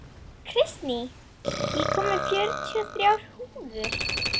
Kristný, ég kom með fjörutíu og þrjár húfur!